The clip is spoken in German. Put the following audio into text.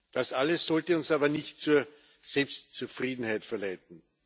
Das alles sollte uns aber nicht zur Selbstzufriedenheit verleiten.